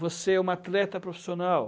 Você é uma atleta profissional.